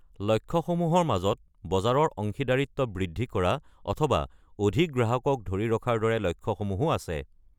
লক্ষ্যসমূহৰ মাজত বজাৰৰ অংশীদাৰীত্ব বৃদ্ধি কৰা অথবা অধিক গ্ৰাহকক ধৰি ৰখাৰ দৰে লক্ষ্যসমূহো আছে।